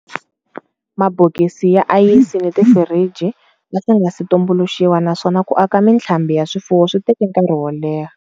Mabokisi ya ayisi ni tifiriji a swi nga si tumbuluxiwa naswona ku aka mitlhambi ya swifuwo swi teke nkarhi wo leha.